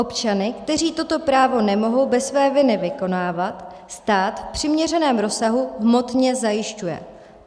Občany, kteří toto právo nemohou bez své viny vykonávat, stát v přiměřeném rozsahu hmotně zajišťuje.